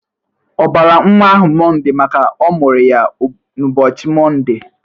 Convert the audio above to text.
Ọ bara nwa ahụ mọnde maka ọ mụrụ ya n'ụbọchị mọnde?